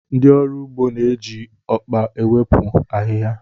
Ndị ọrụ ugbo na-eji ọkpa ewepụ ahịhịa.